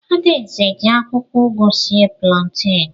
Ada eze ji akwụkwọ ugu sie planten.